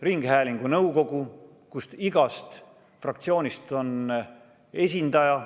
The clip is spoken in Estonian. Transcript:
Ringhäälingu nõukogus on igast fraktsioonist esindaja.